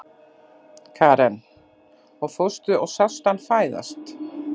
Karen: Og fórstu og sástu hann fæðast?